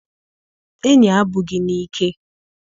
Enyi abụghị n'ike